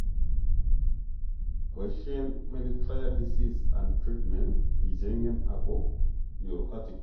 Boisien "menetrier disease and treatment" icheng'en ako nyoru articles